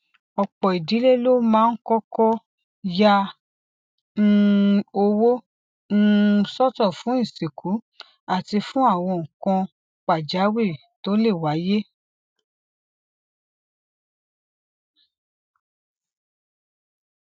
òpò ìdílé ló máa ń kókó ya um owó um sótò fún ìsìnkú àti fún àwọn nǹkan pàjáwìrì tó lè wáyé